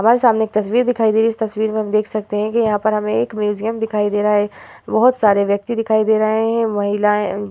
वह सामने एक तस्वीर दिखाई दे रही है इस तस्वीर में हम देख सकते है कि यहाँ पर एक म्यूज़ियम दिखाई दे रहा है बोहोत सारे व्यक्ति दिखाई दे रहे है महिलाऐं --